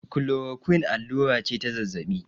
klorakuin allura ce ta zazzabi